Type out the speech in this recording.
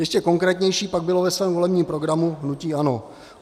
Ještě konkrétnější pak bylo ve svém volebním programu hnutí ANO.